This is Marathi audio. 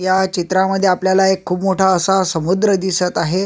या चित्रामध्ये आपल्याला एक खूप मोठा असा समुद्र दिसत आहे.